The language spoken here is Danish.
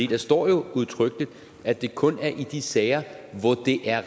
der står jo udtrykkeligt at det kun er i de sager hvor det er